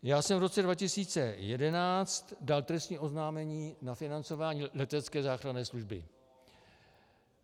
Já jsem v roce 2011 dal trestní oznámení na financování letecké záchranné služby.